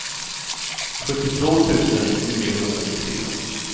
sjuttiotvå tusen niohundranittiofyra